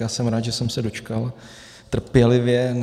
Já jsem rád, že jsem se dočkal trpělivě.